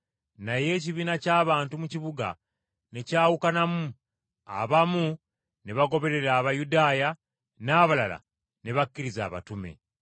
Naye ekibiina ky’abantu mu kibuga ne kyawukanamu abamu ne bagoberera Abayudaaya n’abalala ne bakkiriza abatume.